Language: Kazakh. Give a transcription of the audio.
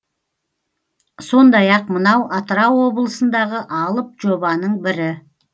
сондай ақ мынау атырау облысындағы алып жобаның бірі